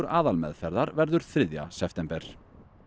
aðalmeðferðar verður þriðja september